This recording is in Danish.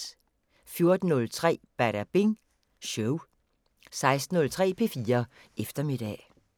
14:03: Badabing Show 16:06: P4 Eftermiddag